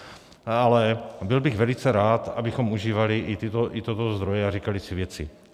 Ale byl bych velice rád, abychom užívali i tyto zdroje a říkali si věci.